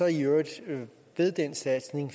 i øvrigt ved den satsning